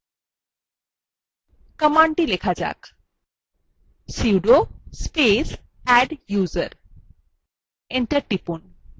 command লেখা যাক sudo space adduser enter টিপুন